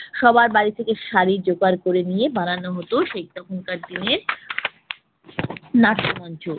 সবার বাড়ি থেকে শাড়ি জোগাড় করে নিয়ে বানানো হতো সেই তখনকার দিনের নাট্যমঞ্চ।